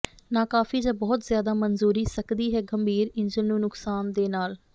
ਨਾਕਾਫ਼ੀ ਜ ਬਹੁਤ ਜ਼ਿਆਦਾ ਮਨਜ਼ੂਰੀ ਸਕਦੀ ਹੈ ਗੰਭੀਰ ਇੰਜਣ ਨੂੰ ਨੁਕਸਾਨ ਦੇ ਨਾਲ